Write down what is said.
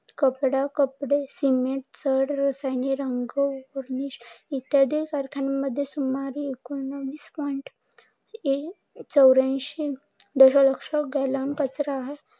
कपडे, सिमेंट, रसायने, रंग इत्यादींमध्ये चौऱ्यानशी दश लक्ष गॅलन कचरा